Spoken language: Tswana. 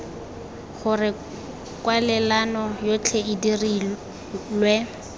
gore kwalelano yotlhe e dirilwe